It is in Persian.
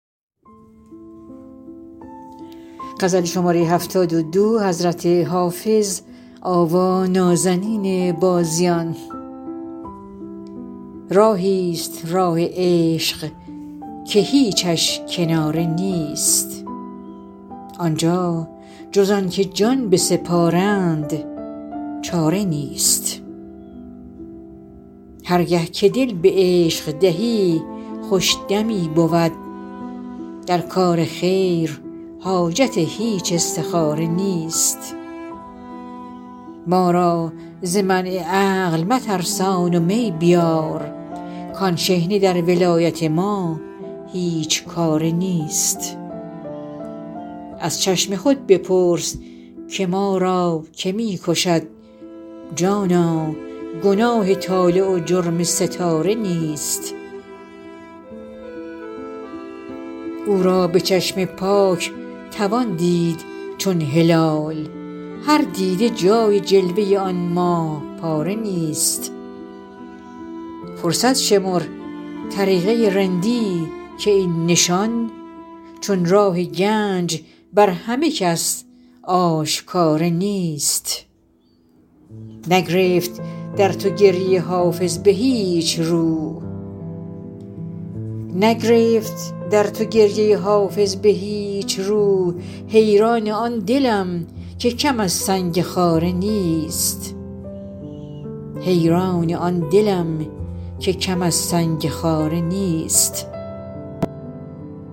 راهی ست راه عشق که هیچش کناره نیست آن جا جز آن که جان بسپارند چاره نیست هر گه که دل به عشق دهی خوش دمی بود در کار خیر حاجت هیچ استخاره نیست ما را ز منع عقل مترسان و می بیار کآن شحنه در ولایت ما هیچ کاره نیست از چشم خود بپرس که ما را که می کشد جانا گناه طالع و جرم ستاره نیست او را به چشم پاک توان دید چون هلال هر دیده جای جلوه آن ماه پاره نیست فرصت شمر طریقه رندی که این نشان چون راه گنج بر همه کس آشکاره نیست نگرفت در تو گریه حافظ به هیچ رو حیران آن دلم که کم از سنگ خاره نیست